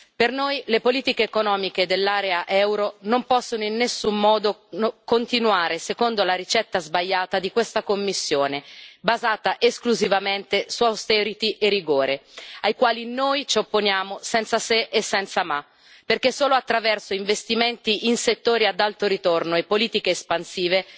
Per noi le politiche economiche dell'area euro non possono in nessun modo continuare secondo la ricetta sbagliata di questa Commissione, basata esclusivamente su austerity e rigore, ai quali noi ci opponiamo senza se e senza ma, perché solo attraverso investimenti in settori ad alto ritorno e politiche espansive